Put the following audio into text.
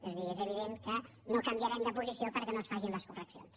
és a dir és evident que no canviarem de posició perquè no es facin les correccions